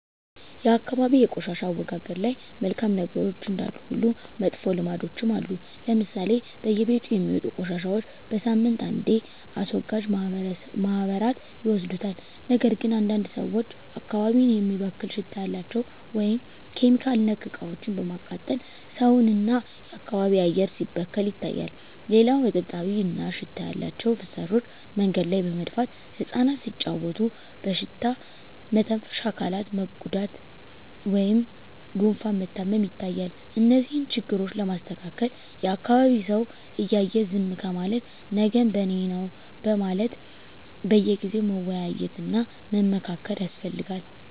የአካባቢ የቆሻሻ አወጋገድ ላይ መልካም ነገሮች እንዳሉ ሁሉ መጥፎ ልምዶችም አሉ ለምሳሌ በየቤቱ የሚወጡ ቆሻሻዎች በሳምንት አንዴ አስወጋጅ ማህበራት ይወስዱታል ነገር ግን አንዳንድ ሰዎች አካባቢን የሚበክል ሽታ ያላቸው (ኬሚካል)ነክ እቃዎችን በማቃጠል ሰውን እና የአካባቢ አየር ሲበከል ይታያል። ሌላው እጥብጣቢ እና ሽታ ያላቸው ፍሳሾች መንገድ ላይ በመድፋት እፃናት ሲጫዎቱ በሽታ መተንፈሻ አካላት መጎዳት ወይም ጉፋን መታመም ይታያል። እነዚህን ችግሮች ለማስተካከል የአካቢዉ ሰው እያየ ዝም ከማለት ነገም በኔነው በማለት በየጊዜው መወያየት እና መመካከር ያስፈልጋል።